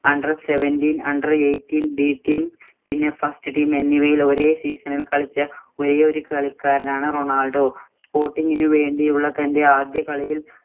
under seventeen, under eighteen, B team പിന്നെ first team എന്നിവയിൽ ഒരേ season ഇല്‍ കളിച്ച ഒരേ ഒരു കളിക്കാരനാണ് റൊണാൾഡോ. sporting ഇന് വേണ്ടിയുള്ള തന്‍റെ ആദ്യ കളിയില്‍